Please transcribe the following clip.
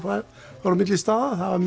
fórum milli staða það var